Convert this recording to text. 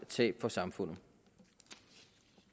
tab for samfundet